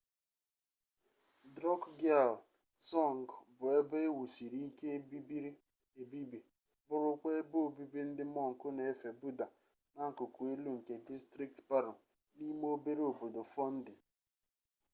drukgyal dzong bụ ebe ewusiri ike ebibiri ebibi bụrụkwa ebe obibi ndị mọnk n'efe buda n'akụkụ elu nke distrikti paro n'ime obere obodo fondi